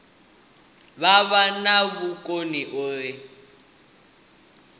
vha vha na vhukoni uri